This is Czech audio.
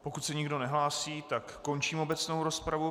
Pokud se nikdo nehlásí, tak končím obecnou rozpravu.